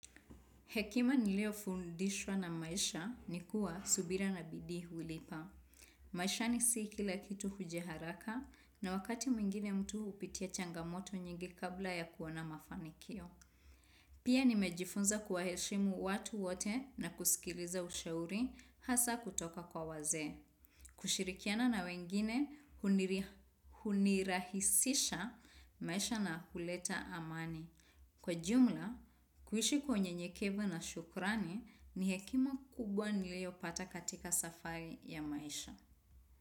Hekima niliofundishwa na maisha ni kuwa subira na bidii hulipa. Maishani si kila kitu huja haraka na wakati mwingine mtu hupitia changamoto nyingi kabla ya kuona mafanikio. Pia nimejifunza kuwaheshimu watu wote na kusikiliza ushauri hasa kutoka kwa wazee. Kushirikiana na wengine hunirahisisha maisha na kuleta amani. Kwa jumla, kuishi kwa unyenyekevu na shukrani ni hekima kubwa niliopata katika safari ya maisha.